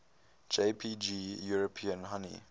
jpg european honey